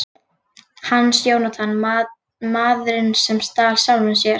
Hans Jónatan: Maðurinn sem stal sjálfum sér.